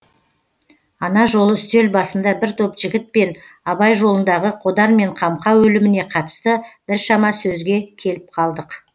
ана жолы үстел басында бір топ жігітпен абай жолындағы қодар мен қамқа өліміне қатысты біршама сөзге келіп қалдық